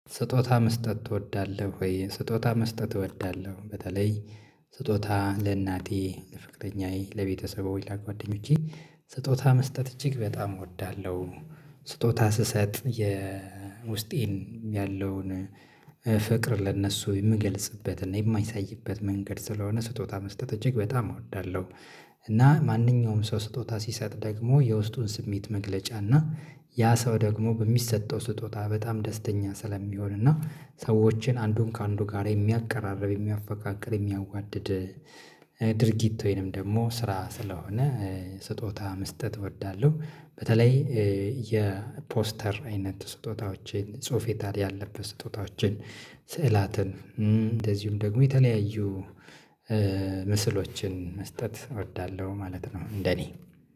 ስጦታ መስጠት ትወዳለህ ወይ? ስጦታ መስጠት እወዳለሁ። በተለይ ስጦታ ለእናቴ ለፍቅረኛዬ ለቤተሰብ ወይ ላ ጓደኞቼ ስጦታ መስጠት እጅግ በጣም እወዳለሁ። ስጦታ ስሰጥ የእ ውስጤን ያለውን ፍቅር ለእነሱ የምገልጽበት እና የማይሳይበት መንገድ ስለሆነ ስጦታ መስጠት እጅግ በጣም እወዳለሁ። እና ማንኛውም ሰው ስጦታ ሲሰጥ ደግሞ የውስጡን ስሜት መግለጫ እና ያ ሰው ደግሞ በሚሰጠው ስጦታ በጣም ደስተኛ ስለሚሆን እና ሰዎችን አንዱን ከአንዱ ጋር የሚያቀራርብ የሚያፈቃቅር የሚያዋድድ ድርጊት ወይንም ደግሞ ስራ ስለሆነ እ ስጦታ መስጠት እወዳለሁ። በተለይ እ የፖስተር አይነት ስጦታዎችን ጽሁፉዊ ታሪክ ያለበት ስጦታዎችን ስዕላትን እም እንደዚሁም ደግሞ የተለያዩ እ ምስሎችን መስጠት እወዳለሁ ማለት ነው። እንደ እኔ